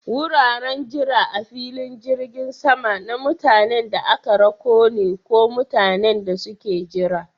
Wuraren jira a filin jirgin sama na mutanen da aka rako ne ko mutanen da suke jira.